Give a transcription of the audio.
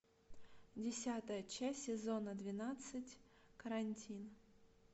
десятая часть сезона двенадцать карантин